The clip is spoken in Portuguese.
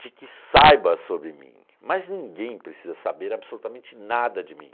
de que saiba sobre mim, mas ninguém precisa saber absolutamente nada de mim.